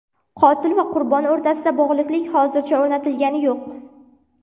Qotil va qurbon o‘rtasidagi bog‘liqlik hozircha o‘rnatilgani yo‘q.